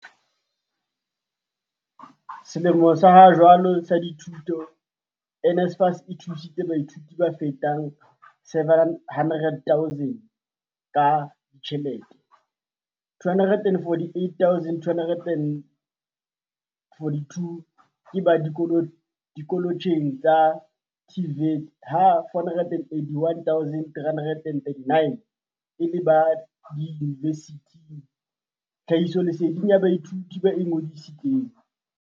"Selemong sa hajwale sa dithuto, NSFAS e thusitse baithuti ba fetang 700 000 ka ditjhelete, 248 242 ke ba dikoletjheng tsa TVET ha 481 339 e le ba diyuni vesithing, tlhahisoleseding ya baithuti ba ingodisi tseng."